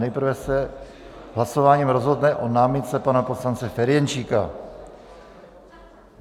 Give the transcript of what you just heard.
Nejprve se hlasováním rozhodne o námitce pana poslance Ferjenčíka.